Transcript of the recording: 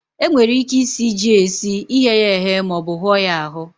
E nwere ike isi ji esi, ighe ya eghe, ma ọ bu hụọ ya ahụ.